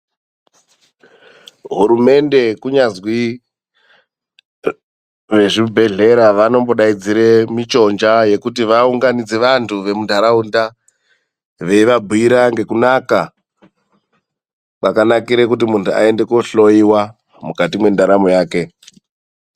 Hurumende kunyazwi vezvibhedhlera vanombodaidzira michonja yekuti vaunganidze vanhu vemunharaunda veivabhuira ngekunaka kwakanakira kuti munhu aende kohloiwa mukati mwendaramo yake.